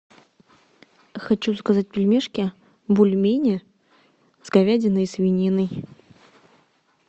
хочу заказать пельмешки бульмени с говядиной и свининой